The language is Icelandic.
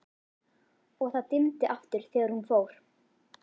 og það dimmdi aftur þegar hún fór.